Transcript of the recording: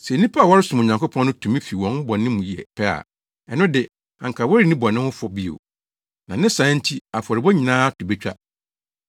Sɛ nnipa a wɔresom Onyankopɔn no tumi fi wɔn bɔne mu yɛ pɛ a, ɛno de anka wɔrenni bɔne ho fɔ bio, na ne saa nti afɔrebɔ nyinaa to betwa.